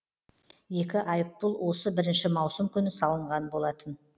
екі айыппұл осы бірінші маусым күні салынған болатын